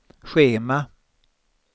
schema